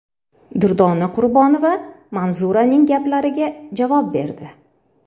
Durdona Qurbonova Manzuraning gaplariga javob berdi .